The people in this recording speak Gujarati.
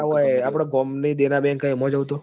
આ આયો આપડી ગોમ ની દેના bank મો જતો રાવ તો